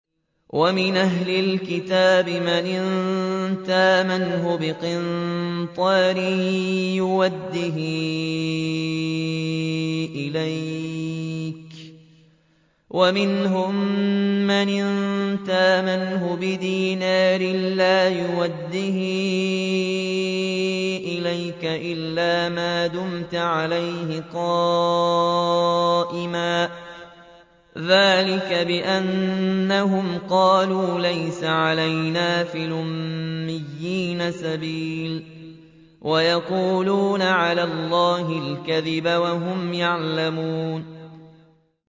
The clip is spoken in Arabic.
۞ وَمِنْ أَهْلِ الْكِتَابِ مَنْ إِن تَأْمَنْهُ بِقِنطَارٍ يُؤَدِّهِ إِلَيْكَ وَمِنْهُم مَّنْ إِن تَأْمَنْهُ بِدِينَارٍ لَّا يُؤَدِّهِ إِلَيْكَ إِلَّا مَا دُمْتَ عَلَيْهِ قَائِمًا ۗ ذَٰلِكَ بِأَنَّهُمْ قَالُوا لَيْسَ عَلَيْنَا فِي الْأُمِّيِّينَ سَبِيلٌ وَيَقُولُونَ عَلَى اللَّهِ الْكَذِبَ وَهُمْ يَعْلَمُونَ